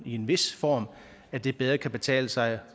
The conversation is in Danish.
i en vis form at det bedre kan betale sig